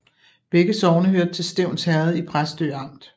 Begge sogne hørte til Stevns Herred i Præstø Amt